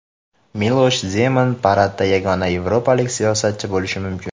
Milosh Zeman paradda yagona yevropalik siyosatchi bo‘lishi mumkin.